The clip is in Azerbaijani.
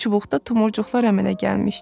Çubuqda tumurcuqlar əmələ gəlmişdi.